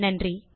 நன்றி